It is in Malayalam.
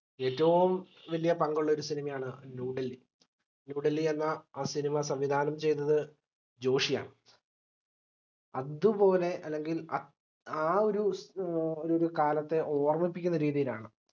ഏറ്റവും വലിയ ഒരു പങ്കുള്ള cinema യാണ് new delhinew delhi എന്ന ആ cinema സംവിധാനം ചെയ്തത് ജോഷിയാണ് അതുപോലെ അല്ലെങ്കിൽ അത് ആഹ് ഒരു ബി ഏർ ഒര് കാലത്തെ ഓർമിപ്പിക്കുന്ന രീതിയിലാണ്